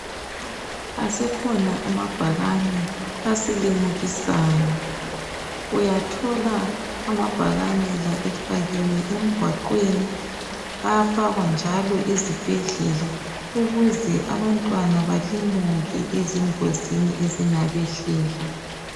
Aseekhona amabhakane asilimukisayo. Uyathola amabhakane la efakiwe emgwaqweni ayafaka njalo ezibhedlela ukuze abantwana balimuke engozini ezingabehlela.